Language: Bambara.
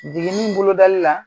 Jiginni bolodali la